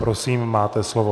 Prosím, máte slovo.